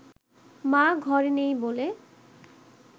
মা ঘরে নেই বলে